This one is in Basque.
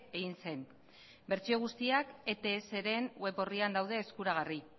egin zen bertsio guztiak etsren web orrian daude eskuragarri